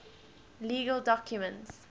legal documents